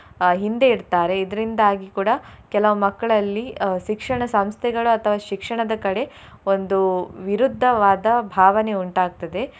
ಅಹ್ ಹಿಂದೆ ಇಡ್ತಾರೆ ಇದ್ರಿಂದಾಗಿ ಕೂಡಾ ಕೆಲವು ಮಕ್ಳಲ್ಲಿ ಅಹ್ ಶಿಕ್ಷಣ ಸಂಸ್ಥೆಗಳ ಅಥವಾ ಶಿಕ್ಷಣದ ಕಡೆ ಒಂದು ವಿರುದ್ಧವಾದ ಭಾವನೆ ಉಂಟಾಗ್ತದೆ.